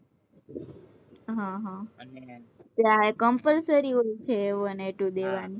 હ હ ત્યાં compulsory એવું છે